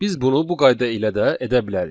Biz bunu bu qayda ilə də edə bilərik.